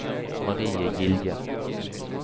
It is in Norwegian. Marie Gilje